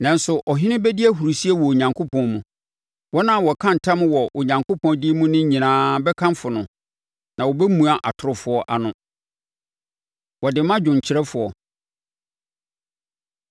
Nanso ɔhene bɛdi ahurisie wɔ Onyankopɔn mu; wɔn a wɔka ntam wɔ Onyankopɔn din mu nyinaa bɛkamfo no, na wɔbɛmua atorofoɔ ano. Wɔde ma dwomkyerɛfoɔ.